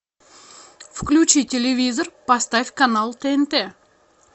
включи телевизор поставь канал тнт